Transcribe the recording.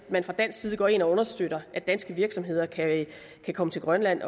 man fra dansk side går ind og understøtter at danske virksomheder kan komme til grønland